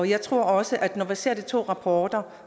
jeg tror også at når vi ser de to rapporter